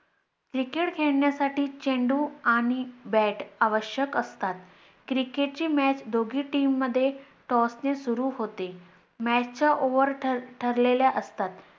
Cricket खेळण्यासाठी चेंडू आणि bat आवश्यक असतात. Cricket ची Match दोघे team मध्ये Toss ने सुरु होते, Match च्या over ठरलेल्या असतात.